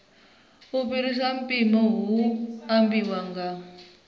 fhiraho mpimo hu ambiwa u